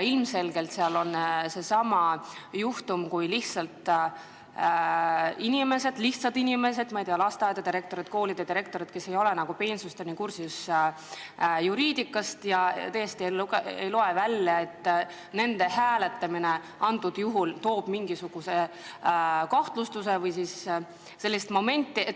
Ilmselgelt on siin seesama juhtum, kui lihtsad inimesed, ma ei tea, lasteaedade ja koolide direktorid, ei ole peensusteni juriidikaga kursis ja tõesti ei loe kuskilt välja, et nende hääletamine toob kaasa mingisuguse kahtlustuse või sellise momendi.